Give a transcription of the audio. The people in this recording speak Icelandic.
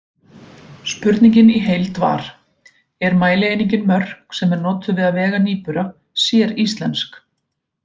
Spurningin í heild var: Er mælieiningin mörk sem er notuð við að vega nýbura séríslensk?